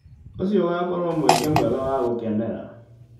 ũcio ũgakorwo mweke mwega wa gũkenera.